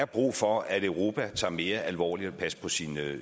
brug for at europa tager det mere alvorligt at passe på sin